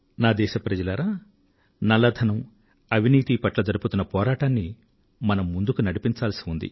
నా దేశ ప్రజలారా నల్ల ధనం అవినీతి పట్ల జరుపుతున్న పోరాటాన్ని మనం ముందుకు నడిపించాల్సి ఉంది